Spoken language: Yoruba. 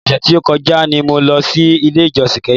Ọ̀sẹ̀ tí o kọjá ni mo lọ sí ilé ìjósìn kẹ́hìn.